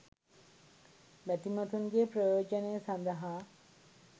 බැතිමතුන්ගේ ප්‍රයෝජනය සඳහා